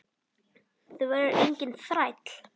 Þú verður enginn þræll.